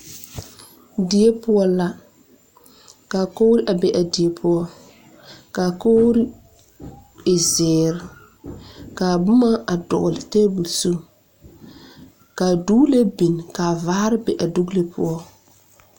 Die poɔ la ka kogri be a a die poɔ ka a kogri e zeere ka a boma dɔgle a tebol zu ka doglee a biŋ ka a vaare be a dogle poɔ.